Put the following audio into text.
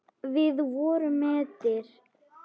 Við vorum mettir.